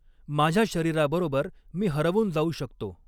माझ्या शरीराबरॊबर मी हरवून जाउ शकतॊ.